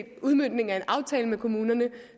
er en udmøntning af en aftale med kommunerne